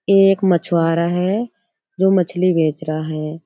एक मछुआरा है जो मछली बेच रहा है।